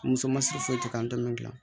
Muso ma siri foyi tɛ k'an tɔmɔ